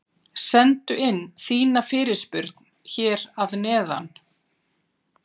Sendu inn þína fyrirspurn hér að neðan!